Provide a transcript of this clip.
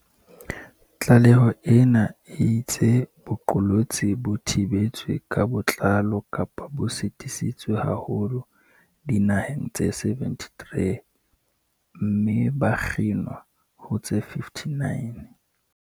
Tlaleho ena e itse boqolotsi bo "thibetswe ka botlalo kapa bo sitisitswe haholo" dinaheng tse 73, mme ba "kginwa" ho tse 59.